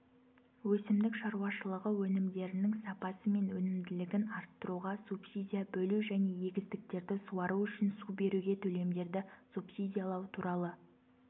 өсімдік шаруашылығы өнімдерінің сапасы мен өнімділігін арттыруға субсидия бөлу және егістіктерді суару үшін су беруге төлемдерді субсидиялау туралы